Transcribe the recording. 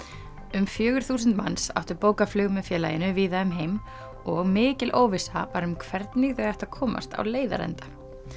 um fjögur þúsund manns áttu bókað flug með félaginu víða um heim og mikil óvissa var um hvernig þau ættu að komast á leiðarenda